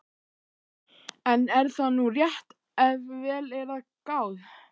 En er það nú rétt ef vel er að gáð?